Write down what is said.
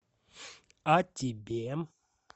а тебе